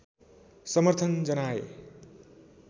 समर्थन जनाए